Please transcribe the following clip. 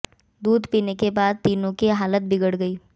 दूध पीने के बाद तीनों की हालत बिगड़ गई